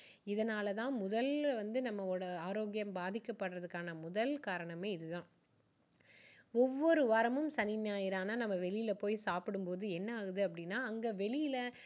இதனால தான் முதல்ல வந்து நம்மளோட ஆரோக்கியம் பாதிக்கபடுறதுக்கான முதல் காரணமே இது தான். ஒவ்வொரு வாரமும் சனி ஞாயிறு ஆனா நம்ம வெளியில போய் சாப்பிடும் போது என்ன ஆகுது அப்படின்னா அங்க வெளியில